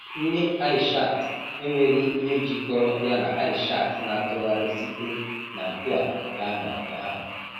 Nne Aishat enweghị ihe jikọrọ ya na Aishat na-atụgharị site na nke a gaa na nke ahụ.